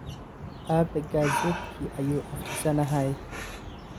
Aabe gazetki ayu akrisanahy.